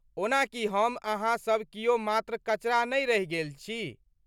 ओना की हम अहाँ सब कियो मात्र कचरा नै रहि गेली छी?